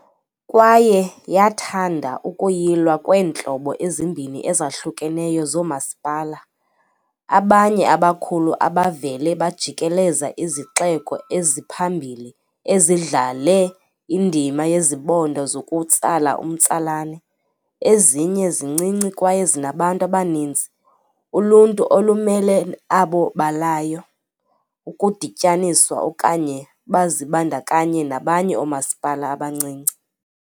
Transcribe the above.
Kwaye yathanda ukuyilwa kweentlobo ezimbini ezahlukeneyo zoomasipala- abanye abakhulu abavele bajikeleza izixeko eziphambili ezidlale indima yezibonda zokutsala umtsalane, ezinye zincinci kwaye zinabantu abaninzi. Uluntu olumele abo balayo ukudityaniswa okanye bazibandakanye nabanye oomasipala abancinci.